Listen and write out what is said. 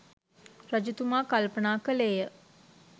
රජතුමා කල්පනා කළේය.